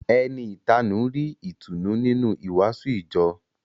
Ẹni ìtanú rí ìtùnú nínú ìwàásù ìjọ